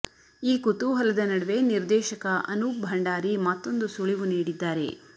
ಈ ಕುತೂಹಲದ ನಡುವೆ ನಿರ್ದೇಶಕ ಅನೂಪ್ ಭಂಡಾರಿ ಮತ್ತೊಂದು ಸುಳಿವು ನೀಡಿದ್ದಾರೆ